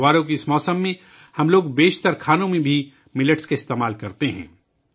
اس تہوار کے موسم میں، ہم زیادہ تر پکوانوں میں ملٹ کا استعمال بھی کرتے ہیں